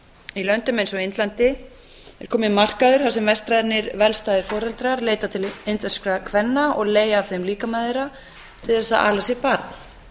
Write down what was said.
í löndum eins og indlandi er kominn markaður þar sem vestrænir velstæðir foreldrar leita til indverskra kvenna og leigja af þeim líkama þeirra til þess að ala sér barn